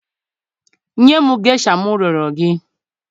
Nye m gesha m rịọrọ gị.